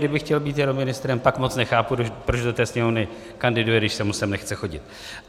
Kdyby chtěl být jenom ministrem, pak moc nechápu, proč do té Sněmovny kandiduje, když se mu sem nechce chodit.